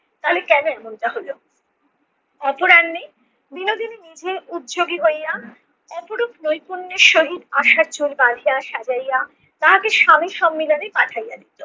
তাহলে কেনো এমনটা হলো? অপরাহ্নে বিনোদিনী নিজে উদযোগী হইয়া অপরূপ নৈপুণ্যের সহিত আশার চুল বাধাইয়া সাজাইয়া তাহাকে স্বামীর সম্মিলনে পাঠাইয়া দিতো।